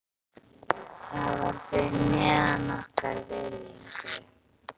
Það var fyrir neðan okkar virðingu.